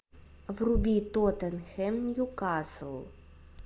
вруби тоттенхэм ньюкасл